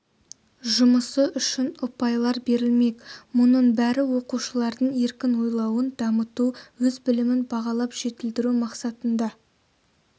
жұмысы үшін ұпайлар берілмек мұның бәрі оқушылардың еркін ойлауын дамыту өз білімін бағалап жетілдіру мақсатында